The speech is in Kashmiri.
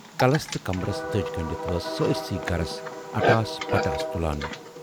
کلس تہٕ کمبرس دٔج گنڈِتھ ٲس سٲرسٕے گَرس اٹاس پٹاس تُلان۔